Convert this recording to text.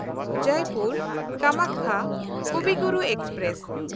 Jaipur Kamakhya Kavi Guru express